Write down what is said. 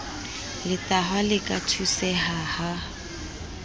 letahwa le ka thuseha ha